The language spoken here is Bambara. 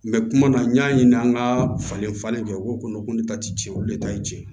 kuma na n y'a ɲininka an ka falen falen kɛ u ko ko ne ta ti tiɲɛ olu de ta ye tiɲɛ ye